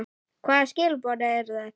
Hvaða skilaboð eru þetta?